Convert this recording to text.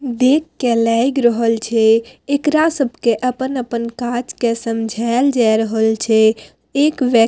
देख के लग रहल छे एकरा सब के अपन-अपन काज के समझाएल जाए छे एक व्यक --